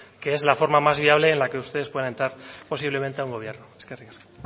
que es la forma más viable en la que ustedes puedan entrar posiblemente a un gobierno eskerrik asko